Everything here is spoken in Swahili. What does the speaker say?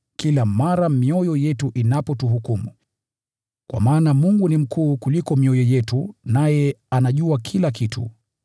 kila mara mioyo yetu inapotuhukumu. Kwa maana Mungu ni mkuu kuliko mioyo yetu, naye anajua kila kitu.